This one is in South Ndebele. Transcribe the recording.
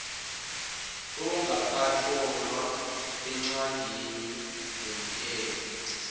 ongakatlolwa eencwadini zomthetho